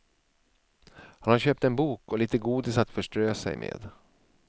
Han har köpt en bok och lite godis att förströ sig med.